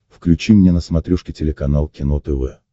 включи мне на смотрешке телеканал кино тв